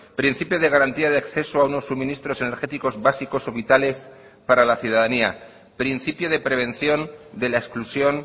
principio de garantía de acceso a unos suministros energéticos básicos o vitales para la ciudadanía principio de prevención de la exclusión